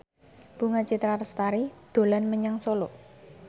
Bunga Citra Lestari dolan menyang Solo